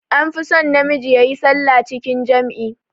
An fi son na miji yayi sallah cikin jam'i